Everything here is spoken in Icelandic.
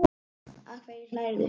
Að hverju hlærðu?